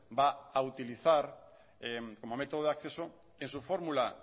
va a utilizar como método de acceso en su fórmula